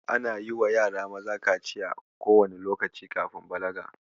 Ana yiwa yara maza kaciya kowanne lokaci kafin balaga.